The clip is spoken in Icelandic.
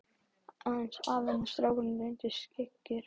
Aðeins afinn og strákurinn reyndust skyggnir.